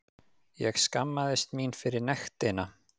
Ég skammast mín fyrir nektina.